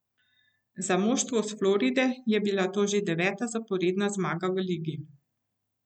Za moštvo s Floride je bila to že deveta zaporedna zmaga v ligi.